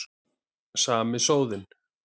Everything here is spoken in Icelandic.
Sami sóðinn.